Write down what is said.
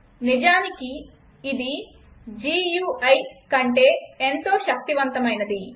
నిజానికి ఇది గుయి కంటే ఎంతో శక్తివంతమైనది